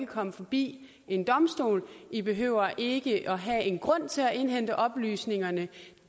komme forbi en domstol i behøver ikke at have en grund til at indhente oplysningerne